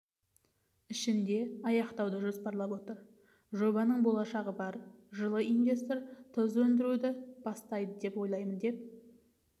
ішінде аяқтауды жоспарлап отыр жобаның болашағы бар жылы инвестор тұз өндіруді бастайды деп ойлаймын деп